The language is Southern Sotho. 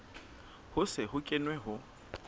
ho se ho kenwe ho